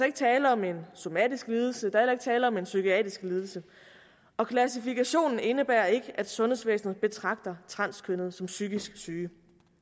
ikke tale om en somatisk lidelse der er tale om en psykiatrisk lidelse og klassifikationen indebærer ikke at sundhedsvæsenet betragter transkønnede som psykisk syge